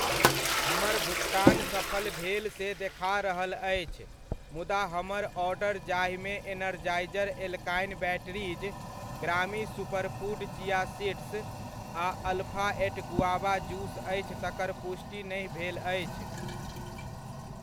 हमर भुकतान सफल भेल से देखा रहल अछि, मुदा हमर ऑर्डर जाहिमे एनरजाइज़र एल्कलाइन बैटरीज, ग्रामी सुपरफूड चिया सीड्स आ अल्फ़ा एट गुआवा जूस अछि तकर पुष्टि नहि भेल अछि।